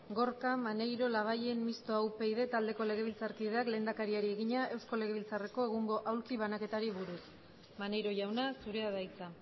gorka maneiro labayen mistoa upyd taldeko legebiltzarkideak lehendakariari egina eusko legebiltzarreko egungo aulki banaketari buruz maneiro jauna zurea da hitza